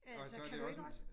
Altså kan du ikke også?